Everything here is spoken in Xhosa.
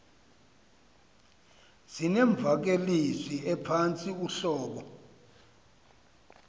zinemvakalezwi ephantsi uhlobo